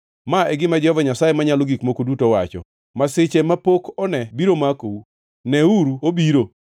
“Ma e gima Jehova Nyasaye Manyalo Gik Moko Duto wacho: “ ‘Masiche mapok one biro makou! Neuru obiro!